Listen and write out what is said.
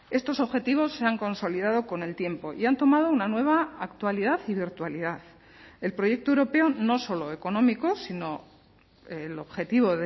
estos objetivos se han consolidado con el tiempo y han tomado una nueva actualidad y virtualidad el proyecto europeo no solo económico sino el objetivo